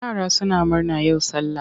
Yara suna murna yau sallah.